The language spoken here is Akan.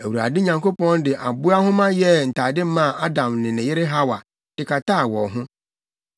Awurade Nyankopɔn de aboa nhoma yɛɛ ntade maa Adam ne ne yere Hawa de kataa wɔn ho.